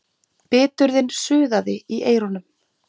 Biturðin suðaði í eyrunum.